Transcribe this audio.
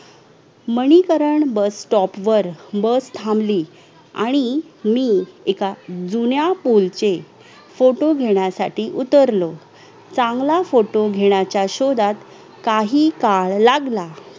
क्रीया शरीर भाग एक मध्ये आयुर्वेदिक शास्त्राचे मूलभूत सिद्धांत स्त्री दोषांचे कार्य व पचनादी क्रिया इत्यादी संकल्पना वितृतपणे मांडल्यानंतर क्रिया शरीर भाग दोन मध्ये धातू व मलाचां कार्याची माहिती देत आहोत.